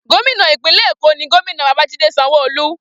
Gómìnà ìpínlẹ̀ Èkó ní Gómìnà Babajide Sanwoolu.